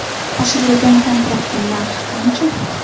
Oshirilgan kontraktning narxi qancha?